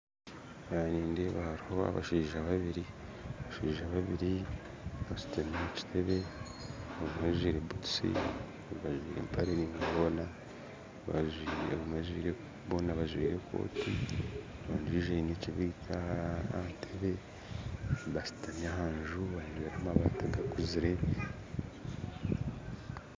Aha nindeeba hariho abashaija babiiri bashuutami omu kiteebe omwe ajwire butuusi ondijo ajwire empare ndaingwa boona bajwire ekooti ondijo aine ekibiriiti aha ntebbe bashuutami aha nju aineho amabaati gakuzire